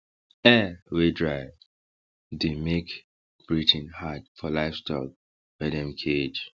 air wey dry dey make breathing hard for livestock wey dem cage